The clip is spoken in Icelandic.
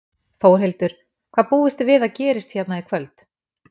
Þórhildur: Hvað búist þið við að gerist hérna í kvöld?